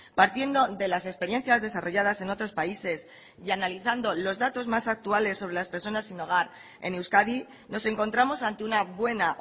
partiendo de las experiencias desarrolladas en otros países y analizando los datos más actuales sobre las personas sin hogar en euskadi nos encontramos ante una buena